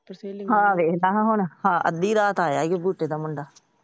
ਆਹ ਵੇਖ ਅੱਧੀ ਰਾਤ ਆਇਆ ਦਾ ਮੁੰਡਾ।